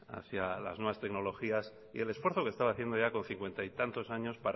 hacia las nuevas tecnologías y el esfuerzo que estaba haciendo ya con cincuenta y tantos años